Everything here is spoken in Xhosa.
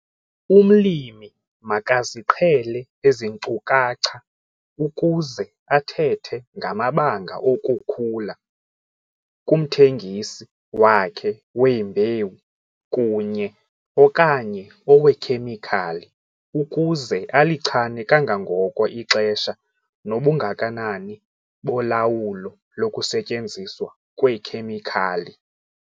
Umlimi makaziqhele ezi nkcukacha ukuze athethe ngamabanga okukhula kumthengisi wakhe wembewu kunye - okanye oweekhemikhali ukuze alichane kangangoko ixesha nobungakanani bolawulo lokusetyenziswa kweekhemikhali.